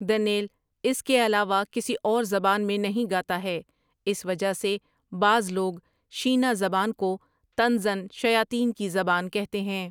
دن٘یل اس کے علاوہ کسی اور زبان میں نہیں گاتا ہے اس وجہ سے بعض لوگ شینا زبان کو طنزاً شیاطین کی زبان کہتے ہیں۔